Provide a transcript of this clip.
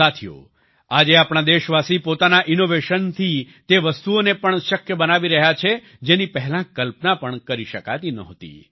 સાથીઓ આજે આપણા દેશવાસી પોતાના ઈનોવેશનથી તે વસ્તુઓને પણ શક્ય બનાવી રહ્યા છે જેની પહેલાં કલ્પના પણ કરી શકાતી નહોતી